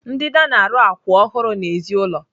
Ndida na-arụ akwụ ọhụrụ n'èzí ụlọ.